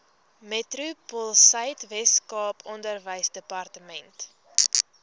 metropoolsuid weskaap onderwysdepartement